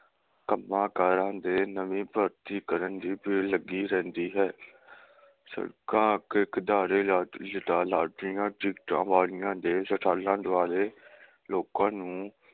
ਕੰਮਾਂ ਕਾਰਾਂ ਦੇ ਨਵੀ ਭਰਤੀ ਕਰਨ ਦੀ ਭੀੜ ਲੱਗੀ ਰਹਿੰਦੀ ਹੈ । ਸੜਕਾਂ ਅੱਗੇ lottery ਲਾਟਰੀਆਂ ਟਿਕਟਾਂ ਵਾਲੀਆਂ ਦੇ ਸਟਾਲਾਂ ਦੁਕਾਨਾਂ ਦੁਆਲੇ ਲੋਕਾਂ ਨੂੰ